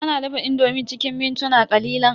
Ana dafa indomi cikin mintuna ƙalilan.